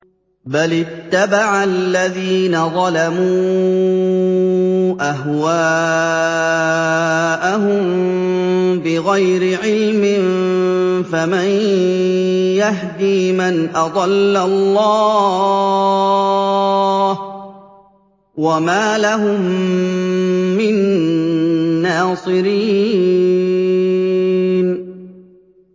بَلِ اتَّبَعَ الَّذِينَ ظَلَمُوا أَهْوَاءَهُم بِغَيْرِ عِلْمٍ ۖ فَمَن يَهْدِي مَنْ أَضَلَّ اللَّهُ ۖ وَمَا لَهُم مِّن نَّاصِرِينَ